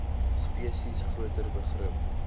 spesies groter begrip